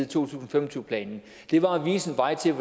tusind og fem og tyve planen var at vise en vej til